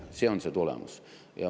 See oleks tulemus.